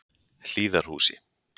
Hlíðarhúsi